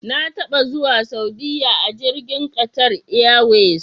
Na taba zuwa Saudiya a jirgin Qatar Airways.